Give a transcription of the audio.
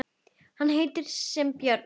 Hann heitir sem björn.